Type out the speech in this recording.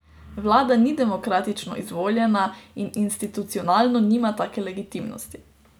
Vlada ni demokratično izvoljena in institucionalno nima take legitimnosti.